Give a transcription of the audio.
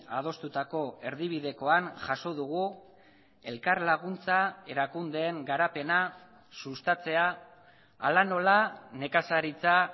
adostutako erdibidekoan jaso dugu elkarlaguntza erakundeen garapena sustatzea hala nola nekazaritza